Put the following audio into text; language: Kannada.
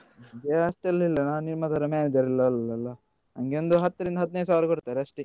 ನಂಗೆ ಅಷ್ಟೆಲ್ಲ ಇಲ್ಲ ನಾನು ನಿಮ್ಮ ತರ manager ಎಲ್ಲ ಅಲ್ಲಲ್ಲ ನನ್ಗೆ ಒಂದು ಹತ್ತರಿಂದ ಹದಿನೈದು ಸಾವಿರ ಕೊಡ್ತಾರೆ ಅಷ್ಟೆ.